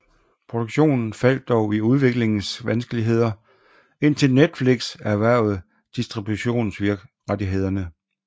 Produktionen faldt dog i udviklingsvanskeligheder indtil Netflix erhvervede distributionsrettighederne